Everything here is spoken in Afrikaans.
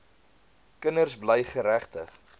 kinders bly geregtig